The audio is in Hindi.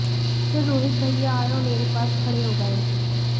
फिर रोहित भैया आए और मेरे पास खड़े हो गए